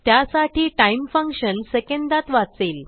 त्यासाठी time function सेकंदात वाचेल